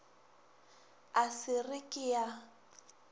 a sa re ke a